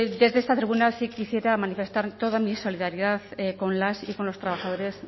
desde esta tribuna sí quisiera manifestar toda mi solidaridad con las y con los trabajadores